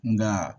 Nka